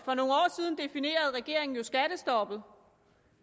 regeringen jo skattestoppet